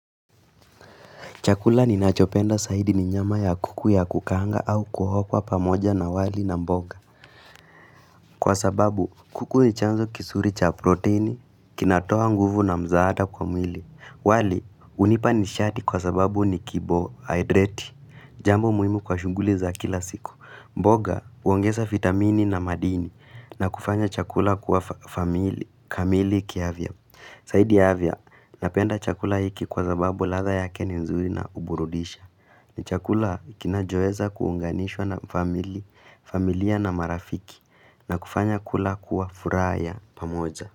Chakula ninachopenda zaidi ni nyama ya kuku ya kukaanga au kuhokwa pamoja na wali na mboga. Kwa sababu, kuku ni chanzo kizuri cha proteini, kinatoa nguvu na msaada kwa mwili. Wali, hunipa nishati kwa sababu ni kibohidrati. Jambo muhimu kwa shughuli za kila siku. Mboga huongeza vitamini na madini, na kufanya chakula kuwa kamili kiafya. Zaidi ya afya, napenda chakula hiki kwa sababu ladha yake ni nzuri na huburudisha. Ni chakula kinachoeza kuunganishwa na familia na marafiki na kufanya kula kuwa furaha ya pamoja.